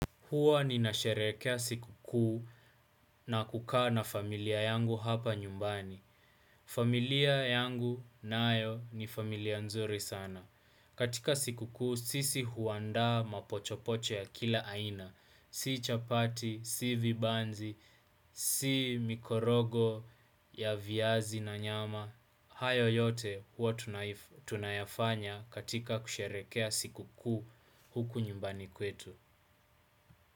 Huwa nina sherehekea siku kuu na kukaa na familia yangu hapa nyumbani. Familia yangu nayo ni familia nzuri sana. Katika siku kuu sisi huanda mapochopocho ya kila aina. Si chapati, si vibanzi, si mikorogo ya viazi na nyama. Hayo yote huwa tunayafanya katika kusherehekea siku kuu huku nyumbani kwetu.